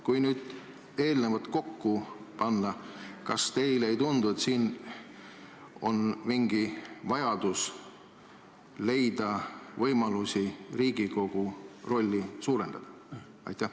Kui nüüd see kõik kokku panna, kas teile ei tundu, et oleks vaja leida võimalusi Riigikogu rolli suurendada?